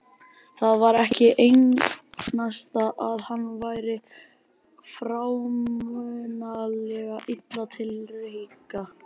Það var ekki einasta að hann væri frámunalega illa til reika.